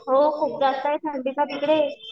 हो खूप जास्त आहे थंडी ना तिकडे.